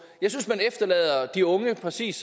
jeg synes at man efterlader de unge præcis